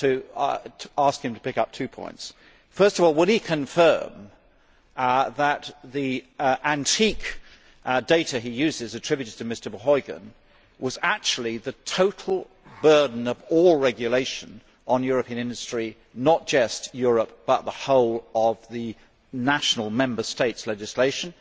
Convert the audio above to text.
I want to ask him to pick up two points first of all, would he confirm that the antique data he uses, attributed to Mr Verheugen, was actually the total burden of all regulation on European industry, not just EU legislation but the whole of the national Member States' legislation?